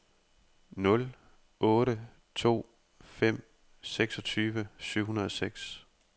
nul otte to fem seksogtyve syv hundrede og seks